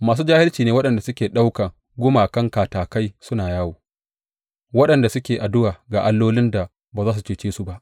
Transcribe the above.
Masu jahilci ne waɗanda suke ɗaukan gumakan katakai suna yawo, waɗanda suke addu’a ga allolin da ba za su cece su ba.